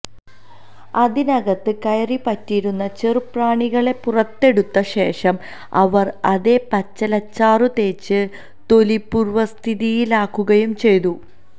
അതിനകത്ത് കയറിപ്പറ്റിയിരുന്ന ചെറുപ്രാണികളെ പുറത്തെടുത്ത ശേഷം അവര് അതേ പച്ചിലച്ചാറുതേച്ച് തൊലി പൂര്വസ്ഥിതിയിലാക്കുകയും ചെയ്തു